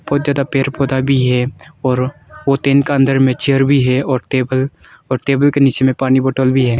बहुत ज्यादा पेड़ पौधा भी है और वो टेन के अंदर में चेयर भी है और टेबल और टेबल के नीचे में पानी बॉटल भी है।